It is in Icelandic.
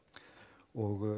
og